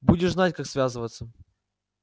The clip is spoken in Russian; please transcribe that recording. будешь знать как связываться